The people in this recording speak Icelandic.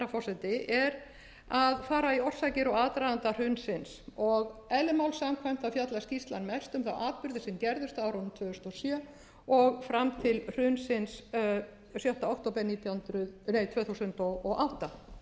forseti er að fara í orsakir og aðdraganda hrunsins og eðli máls samkvæmt fjallar skýrslan mest um þá atburði sem gerðust á árunum tvö þúsund og sjö og fram til hrunsins sjötta október tvö þúsund og átta engu